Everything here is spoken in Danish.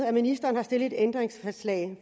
at ministeren har stillet et ændringsforslag